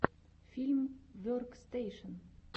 фильм веркстэйшен